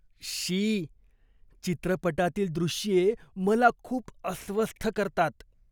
शी! चित्रपटातील दृश्ये मला खूप अस्वस्थ करतात.